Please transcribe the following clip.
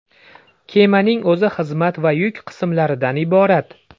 Kemaning o‘zi xizmat va yuk qismlaridan iborat.